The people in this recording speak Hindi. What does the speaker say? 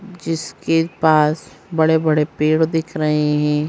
जिसके पास बड़े-बड़े पेड़ दिख रहे हैं ।